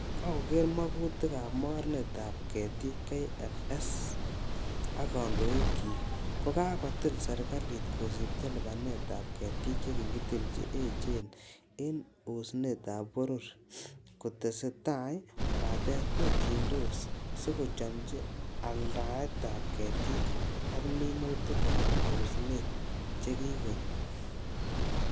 Kokeger mogutik ab mornetab ketik KFS ak kondoikchik, ko kakotil serkalit kosibto lipanet ab ketik che kikitil che echen en osnotab boror kotese tai kobaten terchindos sikochomchi aldaetab ketik ak minutik ab osnet che kikokonyo.